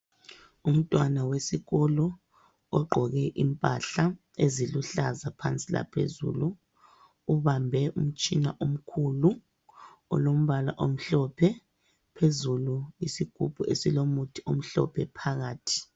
Umntwana wesikolo ogqoke impahla eziluhlaza phansi laphezulu ubambe umtshina omkhulu olombala omhlophe. Phezulu yisigubhu esilomuthi omhlophe phakathi.